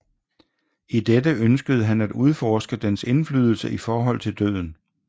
I dette ønskede han at udforske dens indflydelse i forhold til døden